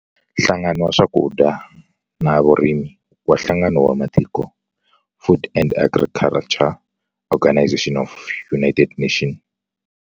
Nhlangano wa Swakudya na Vurimi wa Nhlangano wa Matiko, Food and Agriculture Organization of the United Nations.